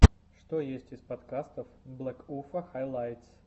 что есть из подкастов блэкуфа хайлайтс